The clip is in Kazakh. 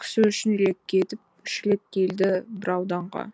кісі үш рет кетіп үш рет келді бір ауданға